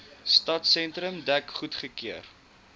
stadsentrum dek goedgekeur